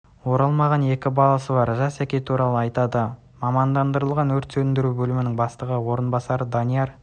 оралмаған екі баласы бар жасар әке туралы айтады мамандырылған өрт сөндіру бөлімі бастығының орынбасары данияр